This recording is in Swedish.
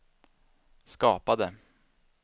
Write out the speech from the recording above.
skapade